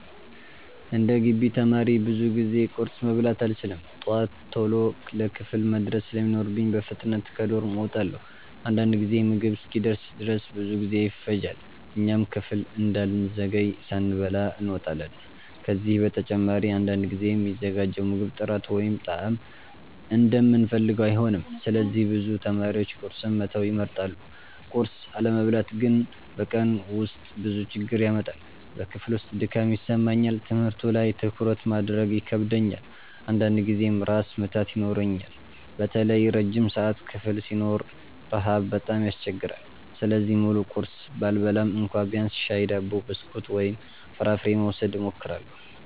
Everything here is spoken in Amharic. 11እንደ ግቢ ተማሪ ብዙ ጊዜ ቁርስ መብላት አልችልም። ጠዋት ቶሎ ለክፍል መድረስ ስለሚኖርብኝ በፍጥነት ከዶርም እወጣለሁ። አንዳንድ ጊዜ ምግብ እስኪደርስ ድረስ ብዙ ጊዜ ይፈጃል፣ እኛም ክፍል እንዳንዘገይ ሳንበላ እንወጣለን። ከዚህ በተጨማሪ አንዳንድ ጊዜ የሚዘጋጀው ምግብ ጥራት ወይም ጣዕም እንደምንፈልገው አይሆንም፣ ስለዚህ ብዙ ተማሪዎች ቁርስን መተው ይመርጣሉ። ቁርስ አለመብላት ግን በቀኑ ውስጥ ብዙ ችግር ያመጣል። በክፍል ውስጥ ድካም ይሰማኛል፣ ትምህርቱ ላይ ትኩረት ማድረግ ይከብደኛል፣ አንዳንድ ጊዜም ራስ ምታት ይኖረኛል። በተለይ ረጅም ሰዓት ክፍል ሲኖረን ረሃብ በጣም ያስቸግራል። ስለዚህ ሙሉ ቁርስ ባልበላም እንኳ ቢያንስ ሻይ፣ ዳቦ፣ ብስኩት ወይም ፍራፍሬ ለመውሰድ እሞክራለሁ።